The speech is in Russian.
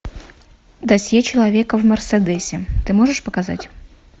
досье человека в мерседесе ты можешь показать